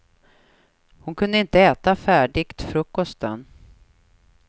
Hon kunde inte äta färdigt frukosten.